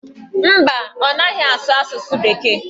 Mba, ọ naghị asụ asụsụ bekee.